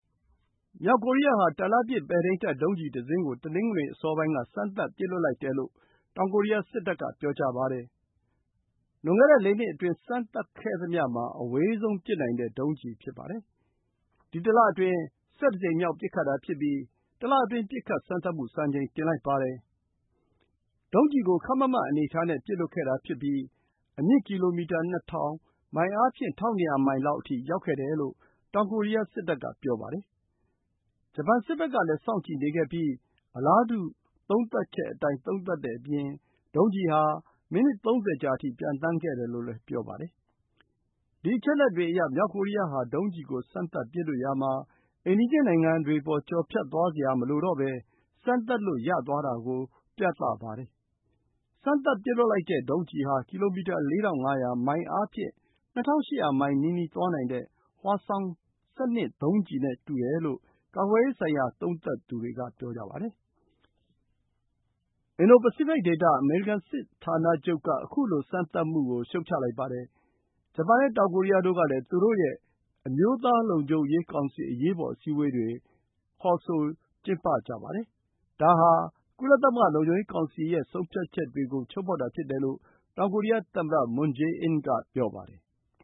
မြောက်ကိုရီးယားဟာ တာလတ်ပစ် ပဲ့ထိန်းတပ် ဒုံးကျည်တစင်းကို တနင်္ဂနွေ အစောပိုင်းက စမ်းသပ် ပစ်လွှတ်လိုက်တယ်လို့ တောင်ကိုရီးယားစစ်တပ်က ပြောပါတယ်။ လွန်ခဲ့တဲ့ ၄ နှစ်အတွင်း စမ်းသပ်ခဲ့သမျှမှာ အဝေးဆုံးပစ်နိုင်တဲ့ ဒုံးကျည် ဖြစ်ပါတယ်။ ဒီတလအတွင်း ၁၁ ကြိမ်မြောက် ပစ်ခတ်တာဖြစ်ပြီး တလအတွင်း ပစ်ခတ်စမ်းသပ်မှု စံချိန်တင်လိုက်ပါတယ်။ ဒုံးကျည်ကို ခပ်မတ်မတ်အနေအထားနဲ့ ပစ်လွှတ်ခဲ့တာဖြစ်ပြီး အမြင့်ကီလိုမီတာ ၂,၀၀၀၊ မိုင်အားဖြင့် ၁,၂၀၀ မိုင်လောက်အထိ ရောက်ခဲ့တယ်လို့ တောင်ကိုရီးယားစစ်တပ်က ပြောပါတယ်။ ဂျပန်စစ်ဘက်ကလည်း စောင့်ကြည့်နေခဲ့ပြီး အလားတူ သုံးသပ်ချက်အတိုင်း သုံးသပ်တဲ့အပြင် ဒုံးကျည်ဟာ မိနစ် ၃၀ ကြာအထိ ပျံသန်းခဲ့တယ်လို့ ဆိုပါတယ်။ ဒီအချက်အလက်တွေအရ မြောက်ကိုရီးယားဟာ ဒုံးကျည်ကို စမ်းသပ်ပစ်လွှတ်ရာမှာ အိမ်နီးချင်းနိုင်ငံတွေအပေါ် ကျော်ဖြတ်သွားစရာမလိုဘဲ စမ်းသပ်လို့ ရသွားတာကို ပြသပါတယ်။ စမ်းသပ်ပစ်လွှတ်တဲ့ ဒုံးကျည်ဟာ ကီလိုမီတာ ၄,၅၀၀ မိုင်အားဖြင့် ၂,၈၀၀ မိုင်နီးနီး သွားနိုင်တဲ့ Hwasong-12 ဒုံးကျည်နဲ့ တူတယ်လို့ ကာကွယ်ရေးဆိုင်ရာ သုံးသပ်သူတွေက ပြောပါတယ်။ အင်ဒို-ပစိဖိတ်ဒေသ အမေရိကန် စစ်ဌာနချုပ်က ခုလိုစမ်းသပ်မှုကို ရှုတ်ချလိုက်ပါတယ်။ ဂျပန်နဲ့ တောင်ကိုရီးယားတို့ကလည်း သူတို့ရဲ့ အမျိုးသားလုံခြုံရေးကောင်စီ အရေးပေါ် အစည်းအဝေးတွေ ကျင်းပလိုက်ကြပါတယ်။ ဒါဟာ ကုလသမဂ္ဂ လုံခြုံရေးကောင်စီရဲ့ ဆုံးဖြတ်ချက်တွေကို ချိုးဖောက်တာဖြစ်တယ်လို့ တောင်ကိုရီးယားသမ္မတ Moon Jae-in က ပြောပါတယ်။